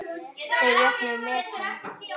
Þeir jöfnuðu metin.